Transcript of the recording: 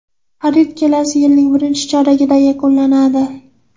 Xarid kelasi yilning birinchi choragida yakunlanadi.